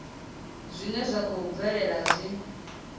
zwine zwa khou bvelela zwi